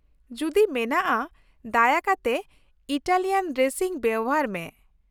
ᱡᱩᱫᱤ ᱢᱮᱱᱟᱜᱼᱟ, ᱫᱟᱭᱟ ᱠᱟᱛᱮ ᱤᱛᱟᱞᱤᱭᱟᱱ ᱰᱨᱮᱥᱤᱝ ᱵᱮᱵᱚᱦᱟᱨ ᱢᱮ ᱾